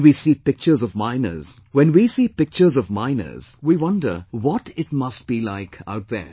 When we see pictures of miners, we wonder what it must be like out there